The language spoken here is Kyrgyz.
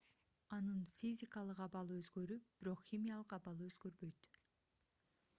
анын физикалык абалы өзгөрүп бирок химиялык абалы өзгөрбөйт